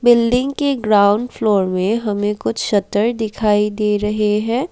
Building के ground floor में हमें कुछ शटर दिखाई दे रहे हैं।